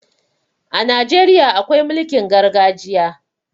A Najeriya akwai mulkin gargajiya.